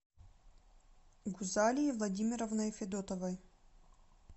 гузалией владимировной федотовой